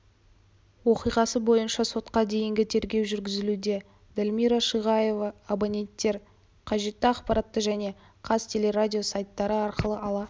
оқиғасы бойынша сотқа дейінгі тергеу жүргізілуде дальмира шиғаева абоненттер қажетті ақпаратты және қазтелерадио сайттары арқылы ала